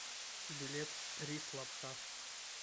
билет рис лапша